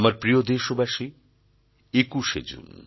আমার প্রিয় দেশবাসী ২১ শে জুন